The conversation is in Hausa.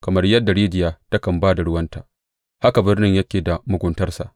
Kamar yadda rijiya takan ba da ruwarta, haka birnin yake da muguntarsa.